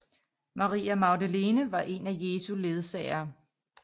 Maria Magdalene var en af Jesu ledsagere